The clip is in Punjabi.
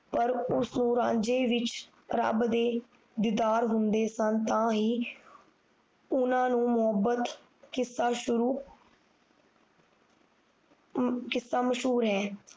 ਪਰ ਉਸ ਨੂੰ ਰਾਂਝੇ ਵਿੱਚ ਰੱਬ ਦੇ ਦਿਦਾਰ ਹੁੰਦੇ ਸਨ ਤਾਂ ਹੀ ਉਹਨਾਂ ਨੂੰ ਮੋਹੱਬਤ ਕਿਸਾ ਸ਼ੁਰੂ ਕਿਸਾ ਮਸ਼ਹੂਰ ਹੈ